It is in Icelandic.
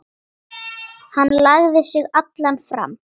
Hann lagði sig allan fram.